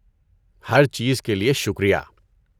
ہر چیز کے لیے شکریہ۔